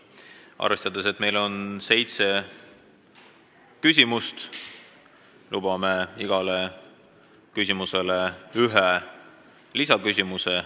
Arvestades, et meil on seitse põhiküsimust, luban neist igaühe puhul ühe lisaküsimuse.